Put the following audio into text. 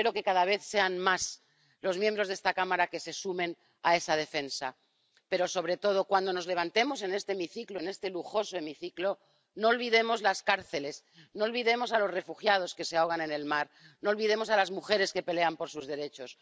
Espero que cada vez sean más los miembros de esta Cámara que se sumen a esa defensa. Pero, sobre todo, cuando nos levantemos en este hemiciclo, en este lujoso hemiciclo, no olvidemos las cárceles, no olvidemos a los refugiados que se ahogan en el mar, no olvidemos a las mujeres que pelean por sus derechos.